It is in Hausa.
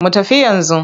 Mu tafi yanzu.